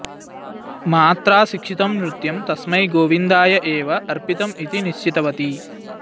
मात्रा शिक्षितं नृत्यं तस्मै गोविन्दाय एव अर्पितम् इति निश्चितवती